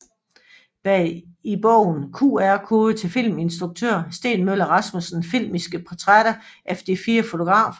Bag I bogen QR kode til filminstruktør Steen Møller Rasmussens filmiske portrætter af de fire fotografer